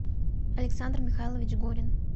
александр михайлович горин